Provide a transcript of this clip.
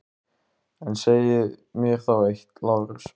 En segið mér þá eitt, Lárus.